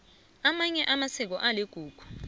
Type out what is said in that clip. amanye amasiko aligugu